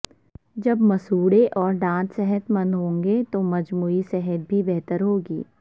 جب مسوڑھے اور دانت صحت مند ہوں گے تو مجموعی صحت بھی بہتر ہوگی